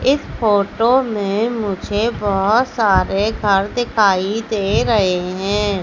इस फोटो में मुझे बहोत सारे घर दिखाई दे रहे हैं।